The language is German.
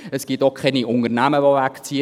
Es gibt auch keine Unternehmen, die wegziehen.